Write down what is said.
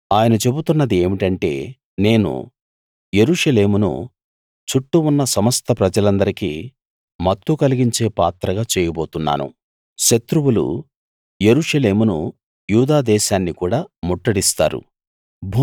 ఆయన చెబుతున్నది ఏమిటంటే నేను యెరూషలేమును చుట్టూ ఉన్న సమస్త ప్రజలందరికీ మత్తు కలిగించే పాత్రగా చేయబోతున్నాను శత్రువులు యెరూషలేమును యూదా దేశాన్ని కూడా ముట్టడిస్తారు